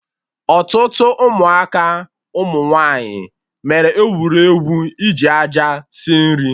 Ọtụtụ Ụmụaka ụmụ nwaanyị mere egwuregwu iji aja sie nri